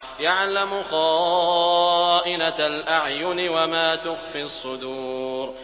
يَعْلَمُ خَائِنَةَ الْأَعْيُنِ وَمَا تُخْفِي الصُّدُورُ